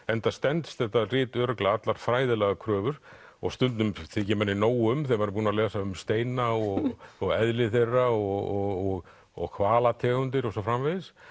enda stenst þetta rit örugglega allar fræðilegar kröfur og stundum þykir manni nóg um þegar maður er búinn að lesa um steina og og eðli þeirra og og hvalategundir og svo framvegis